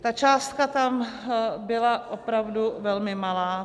Ta částka tam byla opravdu velmi malá.